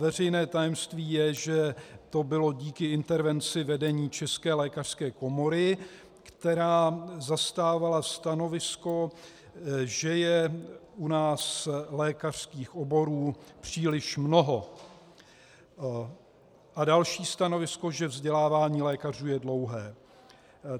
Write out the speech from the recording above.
Veřejné tajemství je, že to bylo díky intervenci vedení České lékařské komory, která zastávala stanovisko, že je u nás lékařských oborů příliš mnoho, a další stanovisko, že vzdělávání lékařů je dlouhé.